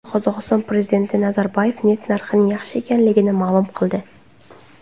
Qozog‘iston prezidenti Nazarboyev neft narxining yaxshi ekanligini ma’lum qildi.